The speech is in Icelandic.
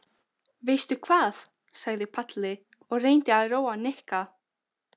Viljiði halda upp á flétturnar, spurði Guðmann.